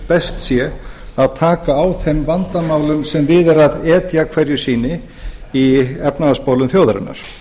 best sé að taka á þeim vandamálum sem við er etja hverju sinni í efnahagsmálum þjóðarinnar